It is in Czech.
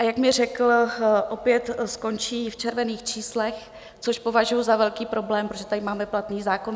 A jak mi řekl, opět skončí v červených číslech, což považuji za velký problém, protože tady máme platný zákon.